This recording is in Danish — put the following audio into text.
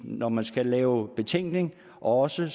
når man skal lave betænkninger og også